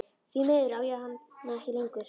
Því miður á ég hana ekki lengur.